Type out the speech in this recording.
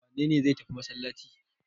Wane ne zai tafi masallaci?